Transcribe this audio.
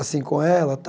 assim com ela.